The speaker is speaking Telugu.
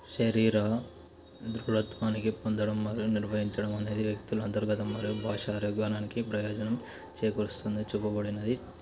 శరీర దృఢత్వానికి పొందడం వల్ల నిర్వహించడం. అనేది వ్యక్తుల అంతర్గత మరియు భాష ప్రయోజనం చేకూరుస్తుంది చెప్పబడినది.